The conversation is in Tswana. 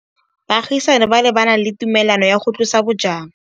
Baagisani ba ne ba na le tumalanô ya go tlosa bojang.